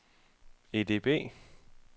EDB